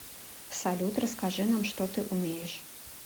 салют расскажи нам что ты умеешь